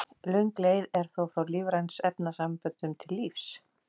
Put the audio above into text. Löng leið er þó frá lífrænum efnasamböndum til lífs.